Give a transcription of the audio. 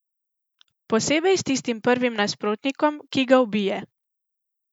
Posebej s tistim prvim nasprotnikom, ki ga ubije.